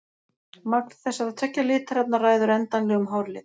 Magn þessara tveggja litarefna ræður endanlegum hárlit.